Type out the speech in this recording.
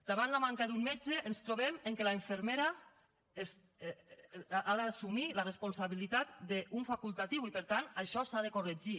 davant la manca d’un metge ens trobem que la infermera ha d’assumir la responsabilitat d’un facultatiu i per tant això s’ha de corregir